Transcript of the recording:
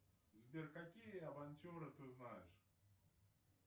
сбер какие авантюры ты знаешь